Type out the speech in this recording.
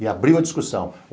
E abriu a discussão.